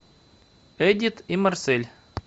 эдит и марсель